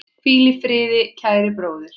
Hvíl í friði, kæri bróðir.